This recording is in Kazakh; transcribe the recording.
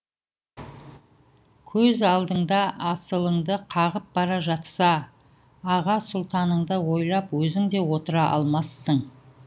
көз алдыңда асылыңды қағып бара жатса аға сұлтаныңды ойлап өзің де отыра алмассың